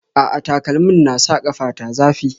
A'a, takalmin na sa ƙafa ta zafi